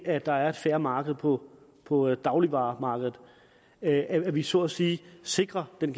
at der er et fair marked på på dagligvareområdet at at vi så at sige sikrer den